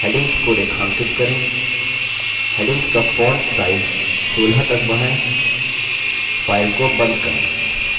headings को रेखांकित करें headings का font size 16 तक बढ़ाएँ file को बंद करें